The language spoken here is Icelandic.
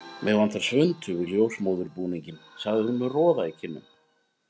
Mig vantar svuntu við ljósmóðurbúninginn, segir hún með roða í kinnum.